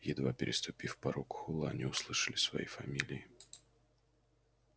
едва переступив порог холла они услышали свои фамилии